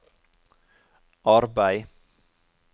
arbeid